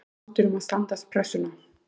Tekst Þrótturum að standast pressuna??